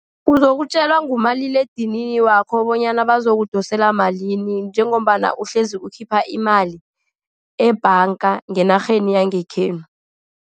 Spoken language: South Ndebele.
Uzokutjelwa ngumaliledinini wakho bonyana bazokudosela malini, njengombana uhlezi ukhipha imali ebhanga ngeenarheni yangekhenu.